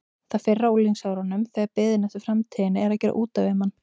Það fyrra á unglingsárunum þegar biðin eftir framtíðinni er að gera út af við mann.